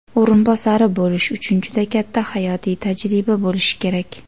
o‘rinbosari bo‘lish uchun juda katta hayotiy tajriba bo‘lishi kerak.